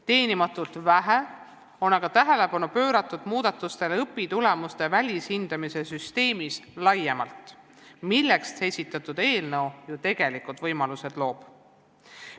Teenimatult vähe on aga tähelepanu pööratud muudatustele õpitulemuste välishindamise süsteemis laiemalt, milleks esitatud eelnõu ju tegelikult võimaluse loob.